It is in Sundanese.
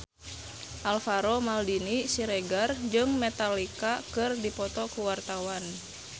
Alvaro Maldini Siregar jeung Metallica keur dipoto ku wartawan